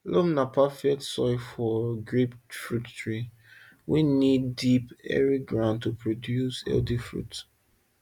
loam na perfect soil for grapefruit trees wey need deep airy ground to produce healthy fruit